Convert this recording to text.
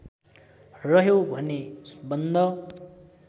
रह्यो भने बन्द